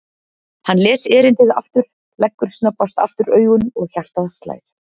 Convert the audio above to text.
Hann les erindið aftur, leggur snöggvast aftur augun og hjartað slær.